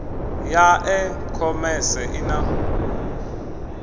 ya e khomese i na